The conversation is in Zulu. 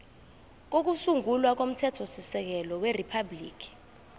kokusungula komthethosisekelo weriphabhuliki